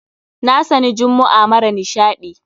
Na sani jummu'a mara nishaɗi.